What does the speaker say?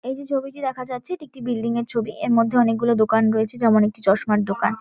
এই যে ছবিটি দেখা যাচ্ছে এটি একটি বিল্ডিং - এর ছবি। এর মধ্যে অনেকগুলো দোকান রয়েছে। যেমন- একটি চশমার দোকান ।